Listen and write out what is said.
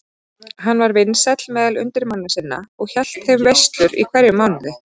Hann var vinsæll meðal undirmanna sinna og hélt þeim veislur í hverjum mánuði.